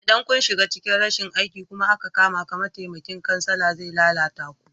Idan kun shiga cikin rashin aiki kuma aka kamaka, mataimakin kansala zai lalata ku.